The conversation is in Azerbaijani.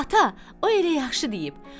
Ata, o elə yaxşı deyib.